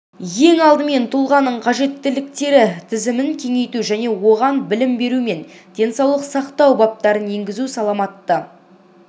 ең алдымен тұлғаның қажеттіліктері тізімін кеңейту және оған білім беру мен денсаулық сақтау баптарын енгізу саламатты